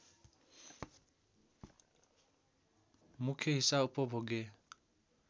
मुख्य हिस्सा उपभोग्य